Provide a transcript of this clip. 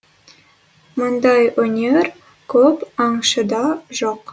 мұндай өнер көп аңшыда жоқ